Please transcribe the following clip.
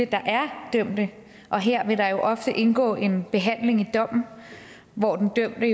der er dømte og her vil der ofte indgå en behandling i dommen hvor den dømte